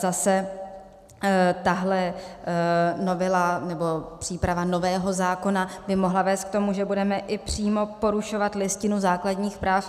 Zase tahle novela, nebo příprava nového zákona by mohla vést k tomu, že budeme i přímo porušovat Listinu základních práv EU.